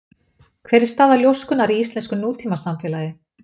Hver er staða ljóskunnar í íslensku nútímasamfélagi?